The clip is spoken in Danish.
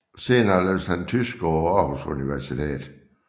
Senere læste han tysk på Aarhus Universitet